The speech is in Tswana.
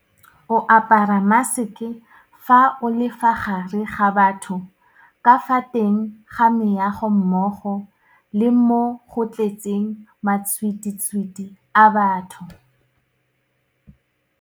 O apara maseke fa o le fa gare ga batho ka fa teng ga meago mmogo le mo go tletseng matšhwititšhwiti a batho.